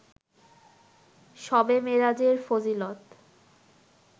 শবে মেরাজের ফজিলত